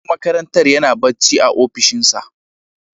Shugaban makarantar yana barci a opishinsa.